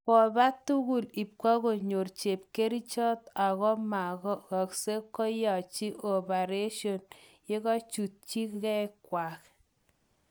Kopa tugul ipkonyor chepkerichot ako mugagse keyachi opareshon yekachukutung'aikwak